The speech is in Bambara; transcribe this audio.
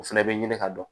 O fɛnɛ bɛ ɲini ka dɔn